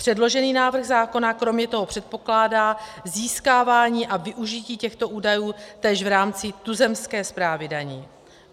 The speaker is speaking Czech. Předložený návrh zákona kromě toho předpokládá získávání a využití těchto údajů též v rámci tuzemské správy daní.